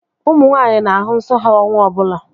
Ụmụ nwaanyị na-ahụ nsọ ha ọnwa ọbụla